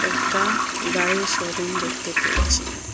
একটা গাড়ির শোরুম দেখতে পেয়েছি।